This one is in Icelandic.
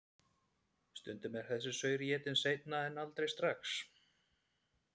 Stundum er þessi saur étinn seinna en aldrei strax.